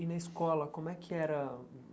E na escola, como é que era o?